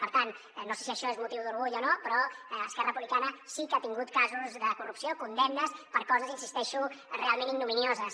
per tant no sé si això és motiu d’orgull o no però esquerra republicana sí que ha tingut casos de corrupció condemnes per coses hi insisteixo realment ignominioses